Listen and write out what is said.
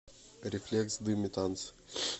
рефлекс дым и танцы